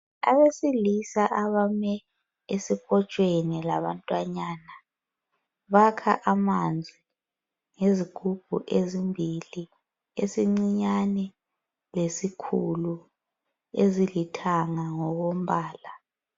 Abesilisa abame esikotshweni labantwanyana. Bakha amanzi ngezigubhu ezimbili, esincinyane lesikhulu, ezilithanga ngokombala.